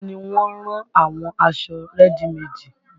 Àwọn ni wọ́n ń rán àwọn aṣọ rẹ́dì meèdì